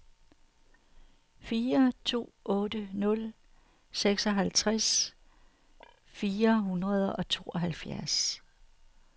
fire to otte nul seksoghalvtreds fire hundrede og tooghalvfjerds